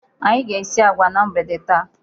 Anyị ga-esi agwa na mgbede taa.